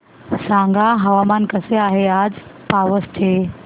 सांगा हवामान कसे आहे आज पावस चे